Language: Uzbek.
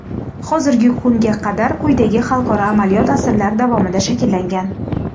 Hozirgi kunga qadar quyidagi xalqaro amaliyot asrlar davomida shakllangan….